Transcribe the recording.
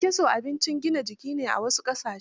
Kyankyaso abinci ne mai gina jiki a wasu ƙasashen.